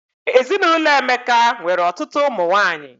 Ezinụlọ Emeka nwere ọtụtụ ụmụ nwanyị